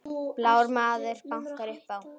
Blár maður bankar upp á